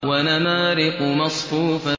وَنَمَارِقُ مَصْفُوفَةٌ